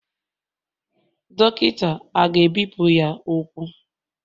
Dọkịta a ga-ebipụ ya ụkwụ?